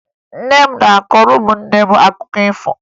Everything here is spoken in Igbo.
Nne m na-akọrọ ụmụnne m akụkọ ifo